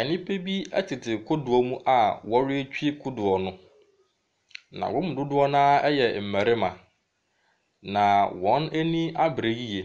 Nnipa bi tete kodoɔ mu a wɔretwi kodoɔ no. Na wɔn mu dodoɔ no ara yɛ mmarima. Na wɔn ani abere yiye.